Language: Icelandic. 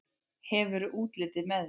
Hefur útlitið með þér.